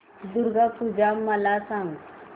दुर्गा पूजा मला सांग